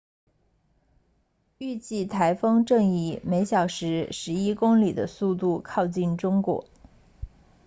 预计台风正以每小时十一公里的速度靠近中国